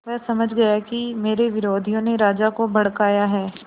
वह समझ गया कि मेरे विरोधियों ने राजा को भड़काया है